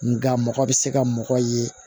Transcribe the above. Nga mɔgɔ bɛ se ka mɔgɔ ye